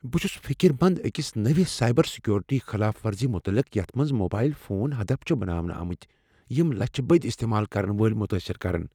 بہٕ چھس فکرمند أکس نٔوس سایبر سیکیورٹی خلاف ورزی متعلق یتھ منٛز موبایل فون ہدف چھ بناونہٕ آمٕتۍ یِم لچھِ بٔدۍ استعمال کرن وٲلۍ متٲثر کرن۔